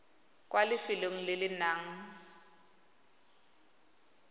kwa lefelong le le nang